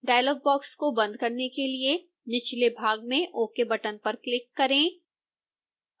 dialogue box को बंद करने के लिए निचले भाग में ok बटन पर क्लिक करें